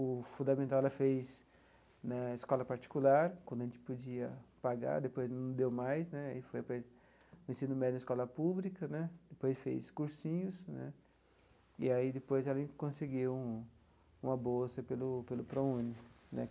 O fundamental ela fez na escola particular, quando a gente podia pagar, depois não deu mais né aí foi para o ensino médio na escola pública né, depois fez cursinhos né, e aí depois ela conseguiu uma bolsa pelo pelo Prouni.